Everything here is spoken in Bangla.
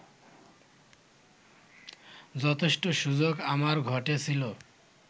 যথেষ্ট সুযোগ আমার ঘটেছিল